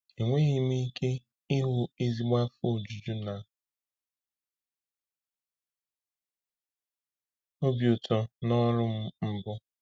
“Enweghị m ike ịhụ ezigbo afọ ojuju na obi ụtọ n’ọrụ m mbụ.”